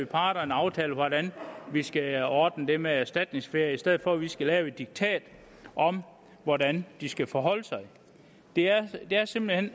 parterne aftale hvordan vi skal ordne det med erstatningsferie i stedet for at vi skal lave et diktat om hvordan de skal forholde sig det er er simpelt hen